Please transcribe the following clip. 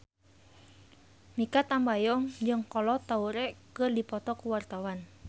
Mikha Tambayong jeung Kolo Taure keur dipoto ku wartawan